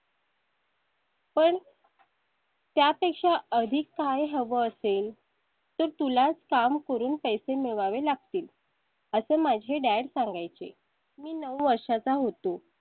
पण त्या पेक्षा अधिक काय हवं असेल तर तुलाच काम करून पैसे मिळवावे लागतील असं माझे dad सांगाय चे. मी नऊ वर्षांचा होतो